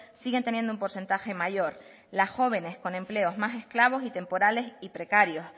siguen teniendo un porcentaje mayor las jóvenes con empleo es más esclavo temporales y precarios